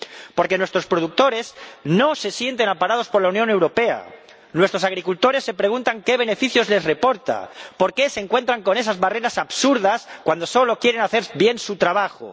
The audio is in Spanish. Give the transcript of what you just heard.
Porque nuestros productores no se sienten amparados por la Unión Europea, nuestros agricultores se preguntan qué beneficios les reporta, por qué se encuentran con esas barreras absurdas cuando solo quieren hacer bien su trabajo.